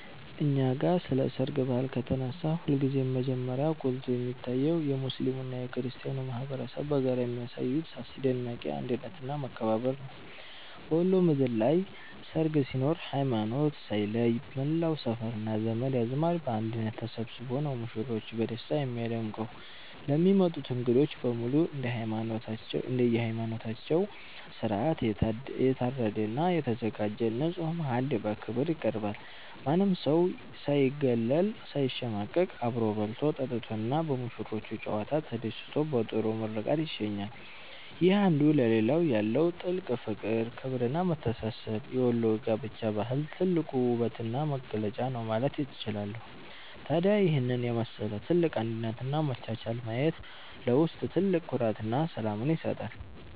እኛ ጋ ስለ ሰርግ ባህል ከተነሳ ሁልጊዜም መጀመሪያ ጎልቶ የሚታየው የሙስሊሙና የክርስቲያኑ ማኅበረሰብ በጋራ የሚያሳዩት አስደናቂ አንድነትና መከባበር ነው። በወሎ ምድር ላይ ሰርግ ሲኖር ሃይማኖት ሳይለይ መላው ሰፈርና ዘመድ አዝማድ በአንድነት ተሰብስቦ ነው ሙሽሮችን በደስታ የሚያደምቀው። ለሚመጡት እንግዶች በሙሉ እንደየሃይማኖታቸው ሥርዓት የታረደና የተዘጋጀ ንጹሕ ማዕድ በክብር ይቀርባል። ማንም ሰው ሳይገለልና ሳይሸማቀቅ አብሮ በልቶ፣ ጠጥቶና በሙሽሮቹ ጨዋታ ተደስቶ በጥሩ ምርቃት ይሸኛል። ይህ አንዱ ለሌላው ያለው ጥልቅ ፍቅር፣ ክብርና መተሳሰብ የወሎ የጋብቻ ባህል ትልቁ ውበትና መገለጫ ነው ማለት እችላለሁ። ታዲያ ይህንን የመሰለ ትልቅ አንድነትና መቻቻል ማየት ለውስጥ ትልቅ ኩራትና ሰላምን ይሰጣል።